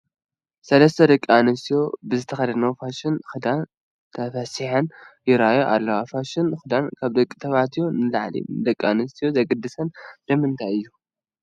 ሰለስተ ደቂ ኣንስትዮ ብዝተኸደንኦ ፋሽን ክዳን ተፈሲሐን ይርአያ ኣለዎ፡፡ ፋሽን ክዳን ካብ ደቂ ተባዕትዮ ንላዕሊ ንደቂ ኣንስትዮ ዘግድሰን ንምንታይ እዩ?